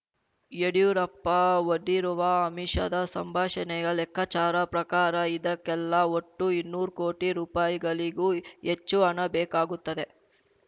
ಯಡ್ಯೂರಪ್ಪ ಒಡ್ಡಿರುವ ಆಮಿಷದ ಸಂಭಾಷಣೆಯ ಲೆಕ್ಕಾಚಾರ ಪ್ರಕಾರ ಇದಕ್ಕೆಲ್ಲಾ ಒಟ್ಟು ಇನ್ನೂರ್ ಕೋಟಿ ರುಪಾಯಿಗಳಿಗೂ ಹೆಚ್ಚು ಹಣ ಬೇಕಾಗುತ್ತದೆ